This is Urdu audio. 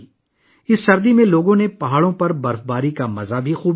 اس سردی میں لوگوں نے پہاڑوں پر برف باری کا بھی مزہ لیا